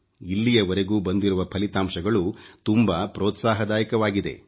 ಇಲ್ಲಿಯವರೆಗೂ ಬಂದಿರುವ ಫಲಿತಾಂಶಗಳು ತುಂಬಾ ಪ್ರೋತ್ಸಾಹದಾಯಕವಾಗಿದೆ